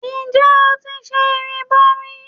Ǹjẹ́ o ti ṣe ìrìbọmi?